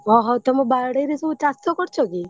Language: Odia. ଓହୋ ତମ ବାଡିରେ ସବୁ ଚାଷ କରୁଛ କି?